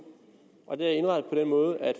og det er indrettet på den måde at